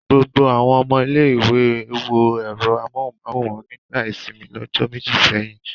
Gbogbo àwọn ọmọ ilé-ìwé wọ ẹ̀rọ amóhùmáwòhán nígbà ìsìnmi lọ̀jọ́ méjì sẹ́yìn.